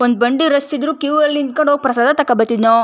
ಒಂದ್ ಬಂಡಿ ರಷ್ ಇದ್ರೂ ಕ್ಯೂ ಲ್ಲಿ ನಿಂತ್ಕೊಂಡು ಹೋಗ್ ಪ್ರಸಾದ ತಕೋ ಬತ್ತಿದ್ನೋ.